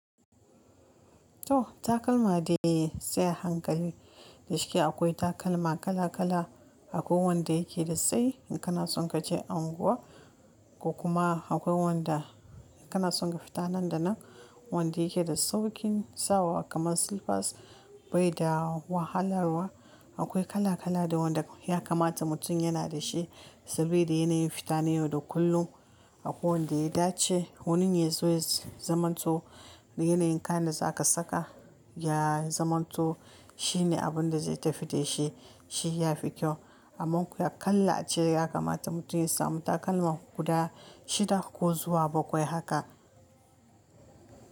To takalma dai sai hankali da cike akwai takalma kala kala, akwai wanda yake da tsayi in kana son ka je unguwa ko kuma akwai wanda kana son ka fita nan da nan wanda yake da saukin sawa kamar silfas bai da wahalarwa. Akwai kala kala da wanda ya kamata mutum yana da shi saboda yana yin fita da ni da kullum. Akwai wanda ya dace honi yazo yayi zaman to yanayin kayan da za ka saka ya yi zaman to shine abun da zai tafi da shi shi ya fi kyau. Amma koya kalla a ce ya kamata mutum ya sami takalma guda shida ko zuwa bakwai haka.